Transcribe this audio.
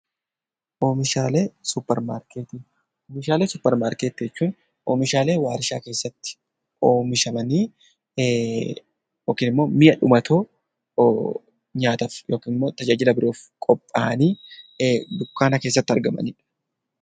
Oomishaalee suppermaarketii Oomishaalee suppermaarketii jechuun oomishaalee waarshaa keessatti oomishamanii yookiin immoo mi'a dhumatoo nyaataaf yookiin immoo tajaajila biroof qophaa'anii dukkaana keessatti argamanii dha.